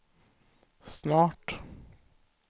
snart